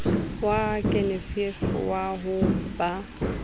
wa genevieve wa ho ba